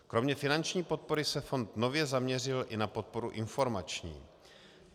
Kromě finanční podpory se fond nově zaměřil i na podporu informační.